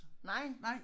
Nej